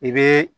I bɛ